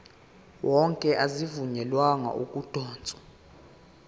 wonke azivunyelwanga ukudotshwa